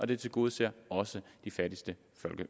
det tilgodeser også de fattigste